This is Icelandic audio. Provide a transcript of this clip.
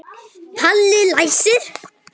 Palli læsir.